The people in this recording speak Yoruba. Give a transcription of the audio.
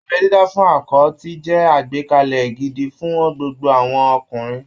Abẹ́ dídá fún akọ ti jẹ́ àgbékalẹ̀ gidi fún gbogbo àwọn ọkùnrin